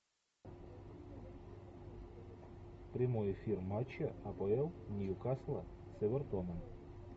прямой эфир матча апл ньюкасла с эвертоном